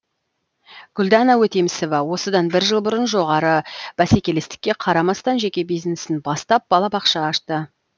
гүлдана өтемісова осыдан бір жыл бұрын жоғары бәсекелестікке қарамастан жеке бизнесін бастап балабақша ашты